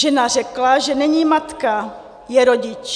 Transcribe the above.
Žena řekla, že není matka, je rodič.